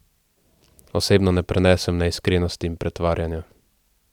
Osebno ne prenesem neiskrenosti in pretvarjanja.